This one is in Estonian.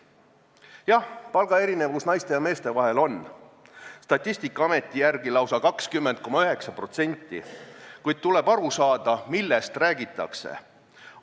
Jah, naiste ja meeste vahel on palga erinevus – Statistikaameti järgi lausa 20,9% –, kuid tuleb aru saada, millest räägitakse.